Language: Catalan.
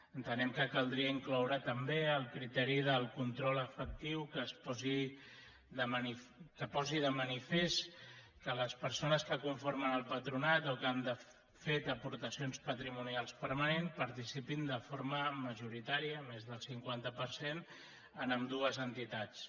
entenem que caldria incloure també el criteri del control efectiu que posi de manifest que les persones que conformen el patronat o que han fet aportacions patrimonials permanents participin de forma majoritària més del cinquanta per cent en ambdues entitats